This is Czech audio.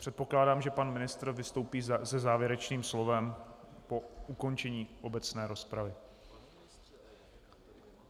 Předpokládám, že pan ministr vystoupí se závěrečným slovem po ukončení obecné rozpravy.